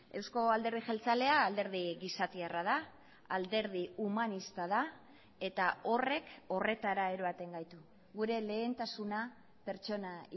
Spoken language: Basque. euzko alderdi jeltzalea alderdi gizatiarra da alderdi humanista da eta horrek horretara eroaten gaitu gure lehentasuna pertsona